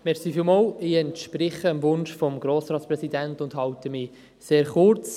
Ich entspreche dem Wunsch des Grossratspräsidenten und halte mich sehr kurz.